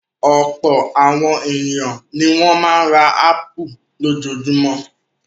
Ọ̀pọ̀ àwọn ènìyàn ni wọ́n máa ń ra ápù lójoojúmọ́.